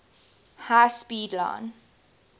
high speed line